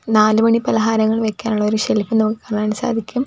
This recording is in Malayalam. നാലുമണി പലഹാരങ്ങൾ വെക്കാനുള്ള ഒരു ഷെൽഫ് കാണാൻ സാധിക്കും.